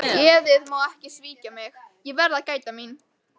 Geðið má ekki svíkja mig, ég verð að gæta mín.